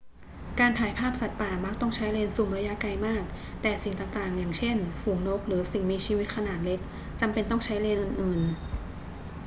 การถ่ายภาพสัตว์ป่ามักต้องใช้เลนส์ซูมระยะไกลมาก แต่สิ่งต่าง ๆ อย่างเช่น ฝูงนกหรือสิ่งมีชีวิตขนาดเล็กจำเป็นต้องใช้เลนส์อื่น ๆ